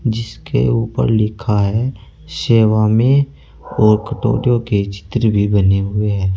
जिसके ऊपर लिखा है सेवा में और कटोरियों के चित्र भी बने हुए हैं।